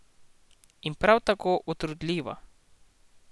In prav tako utrudljiva.